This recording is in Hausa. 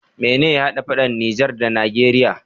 Mene ya hada faɗan niger da nageria?